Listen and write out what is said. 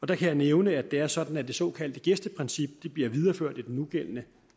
der kan jeg nævne at det er sådan at det såkaldte gæsteprincip bliver videreført i den nugældende